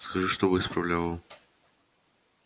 скажи чтобы исправляла